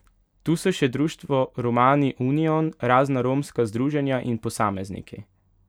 Tu so še društvo Romani union, razna romska združenja in posamezniki.